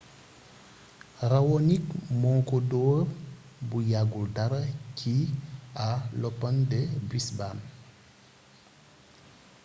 raonic moo ko dóor bu yàggul dara ci à l'open de brisbane